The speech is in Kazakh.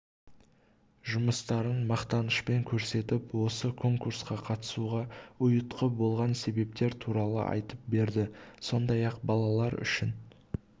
жұмыстарын мақтанышпен көрсетіп осы конкурсқа қатысуға ұйытқы болған себептер туралы айтып берді сондай-ақ балалар үшін